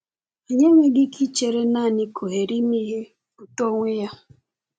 Anyị enweghị ike ichere naanị ka ohere ịmụ ihe pụta onwe ya.